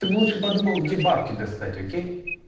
ты бы лучше подумал где бабки достать окей